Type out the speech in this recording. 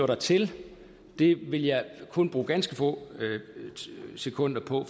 dertil vil jeg kun bruge ganske få sekunder på